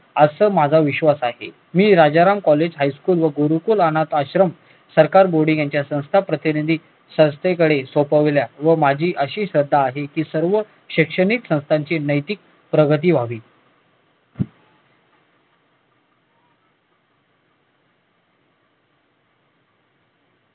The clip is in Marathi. असा माझा विश्वास आहे मी राजाराम कॉलेज हायस्कुल व गुरुकुल अनाथाश्रम सरकार बोर्डिंग यांच्या संस्था प्रतिनिधी संस्थेकडे सोपवल्या व माझी अशी श्रद्धा आहे की सर्व शैक्षणिक संस्थांचे नैतिक प्रगती व्हावी